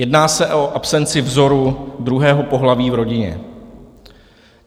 Jedná se o absenci vzoru druhého pohlaví v rodině.